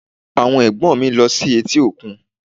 Àwọn Ẹ̀gbọ́n mi lọ sí etí òkun